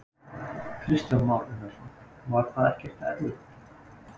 Kristján Már Unnarsson: Var það ekkert erfitt?